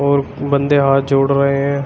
और बंदे हाथ जोड़ रहे हैं।